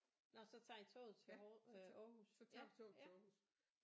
Nåh så tager I toget til øh Aarhus ja ja